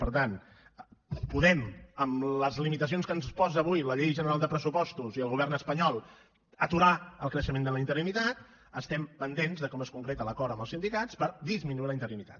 per tant podem amb les limitacions que ens posa avui la llei general de pressupostos i el govern espanyol aturar el creixement de la interinitat estem pendents de com es concreta l’acord amb els sindicats per disminuir la interinitat